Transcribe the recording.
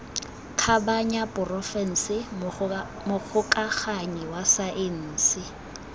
kgabanya porofense mogokaganyi wa saense